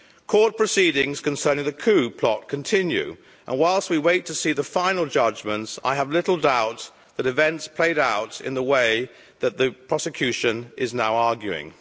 Court proceedings concerning the coup plot continue, and whilst we wait to see the final judgments, I have little doubt that events played out in the way that the prosecution is now arguing.